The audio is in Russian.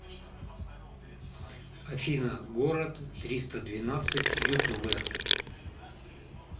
афина город триста двенадцать ютубэ